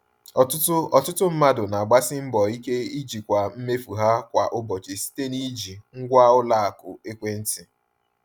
Ọtụtụ Ọtụtụ mmadụ na-agbasi mbọ ike ijikwa mmefu ha kwa ụbọchị site n’iji ngwa ụlọ akụ ekwentị.